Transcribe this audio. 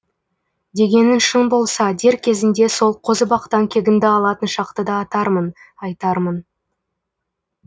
дегенің шын болса дер кезінде сол қозыбақтан кегіңді алатын шақты да атармын айтармын